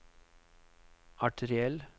arteriell